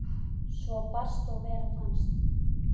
Svar barst og verð fannst.